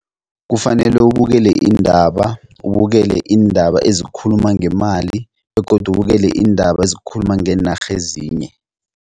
Kufanele ubukele iindaba, ubukele iindaba ezikhuluma ngemali begodu ubukele iindaba ezikhuluma ngeenarha ezinye.